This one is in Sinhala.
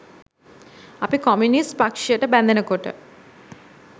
අපි කොමියුනිස්ට් පක්ෂයට බැඳෙනකොට